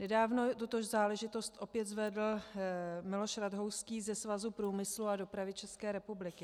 Nedávno tuto záležitost opět zvedl Miloš Rathouský ze Svazu průmyslu a dopravy České republiky.